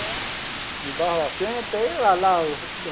É. De Barbacena, tem lá lá.